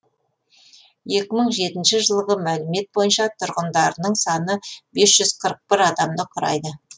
екі мың жетінші жылғы мәліметтер бойынша тұрғындарының саны бес жүз қырық бір адамды құрайды